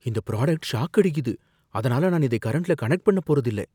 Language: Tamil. இந்த புராடக்ட் ஷாக் அடிக்குது, அதனால நான் இதை கரண்ட்ல கனெக்ட் பண்ணப் போறது இல்ல.